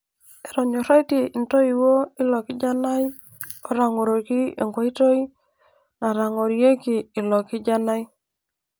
Etonyoraitie intooiwuo ilo kijanai otang'oroki enkoitoi natang'orieki ilo kijanai.